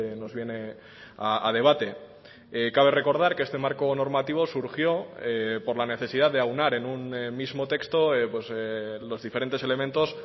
nos viene a debate cabe recordar que este marco normativo surgió por la necesidad de aunar en un mismo texto los diferentes elementos